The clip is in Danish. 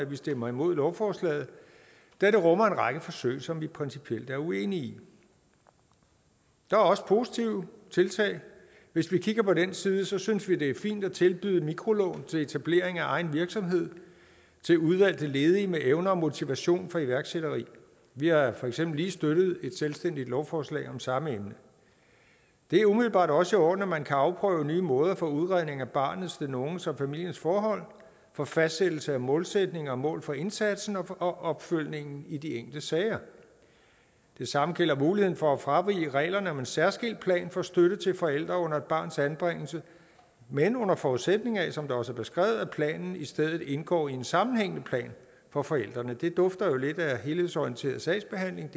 vi stemmer imod lovforslaget da det rummer en række forsøg som vi principielt er uenige i der er også positive tiltag hvis vi kigger på den side synes vi det er fint at tilbyde mikrolån til etablering af egen virksomhed til udvalgte ledige med evner og motivation for iværksætteri vi har for eksempel lige støttet et selvstændigt lovforslag om samme emne det er umiddelbart også i orden at man kan afprøve nye måder for udredning af barnets den unges og familiens forhold for fastsættelse af målsætninger og mål for indsatsen og opfølgningen i de enkelte sager det samme gælder muligheden for at fravige reglerne om en særskilt plan for støtte til forældre under et barns anbringelse men under forudsætning af som det også er beskrevet at planen i stedet indgår i en sammenhængende plan for forældrene det dufter jo lidt af helhedsorienteret sagsbehandling